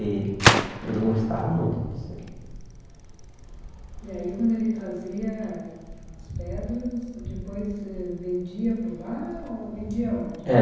E ele gostava muito E aí, quando ele trazia as pedras, depois eh vendia por lá ou vendia onde?